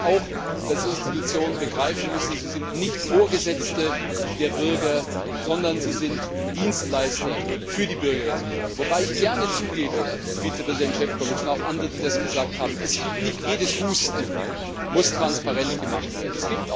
Das heißt auch, dass die Institutionen begreifen müssen Sie sind nicht Vorgesetzte der Bürger, sondern sie sind Dienstleister für die Bürgerinnen und Bürger. Wobei ich gerne zugebe das ist an Vizepräsident Šefčovič und auch an andere gerichtet, die das gesagt haben Nicht jedes Husten muss transparent gemacht werden.